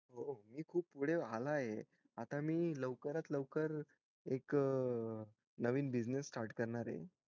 मी खूप पुढे झालाय आता मी लवकरत लवकर एक नवीन business start करणार ये